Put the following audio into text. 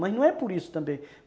Mas não é por isso também.